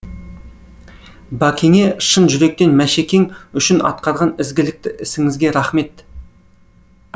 бәкеңе шын жүректен мәшекең үшін атқарған ізгілікті ісіңізге рахмет